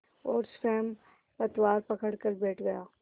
और स्वयं पतवार पकड़कर बैठ गया